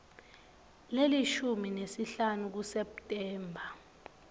lelishumi nesihlanu kuseptemba